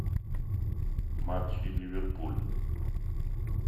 матчи ливерпуль